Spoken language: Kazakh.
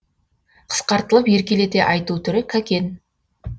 қысқартылып еркелете айту түрі кәкен